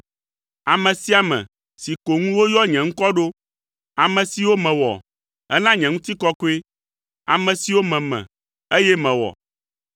ame sia ame si ko ŋu woyɔ nye ŋkɔ ɖo, ame siwo mewɔ hena nye ŋutikɔkɔe, ame siwo meme, eye mewɔ.”